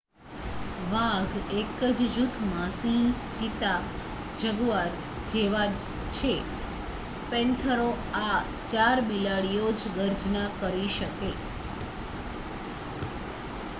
વાઘ એક જ જૂથમાં સિંહ ચિત્તા અને જગુઆર જેવા છે પેન્થેરા.આ ચાર બિલાડીઓ જ ગર્જના કરી શકે